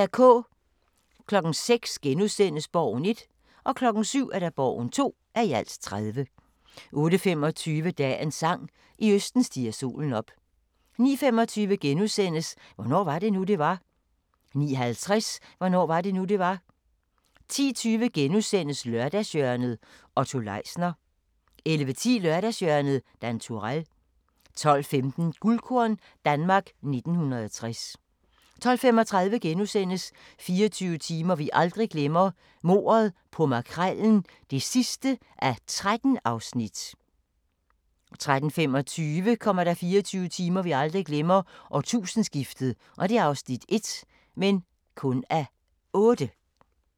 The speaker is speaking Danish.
06:00: Borgen (1:30)* 07:00: Borgen (2:30) 08:25: Dagens sang: I østen stiger solen op 09:25: Hvornår var det nu, det var? * 09:50: Hvornår var det nu, det var? 10:20: Lørdagshjørnet - Otto Leisner * 11:10: Lørdagshjørnet - Dan Turèll 12:15: Guldkorn - Danmark 1960 12:35: 24 timer vi aldrig glemmer: Mordet på Makrellen (13:13)* 13:25: 24 timer vi aldrig glemmer: Årtusindeskiftet (1:8)